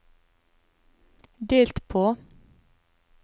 delt på